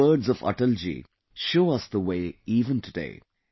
these words of Atal ji show us the way even today